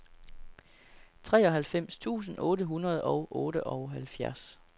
treoghalvfems tusind otte hundrede og otteoghalvfjerds